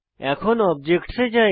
এখন অবজেক্টস এ যাই